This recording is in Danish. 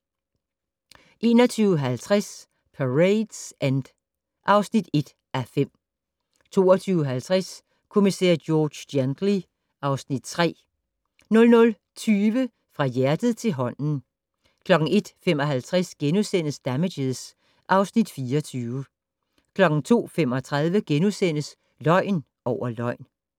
21:50: Parade's End (1:5) 22:50: Kommissær George Gently (Afs. 3) 00:20: Fra hjertet til hånden 01:55: Damages (Afs. 24)* 02:35: Løgn over løgn *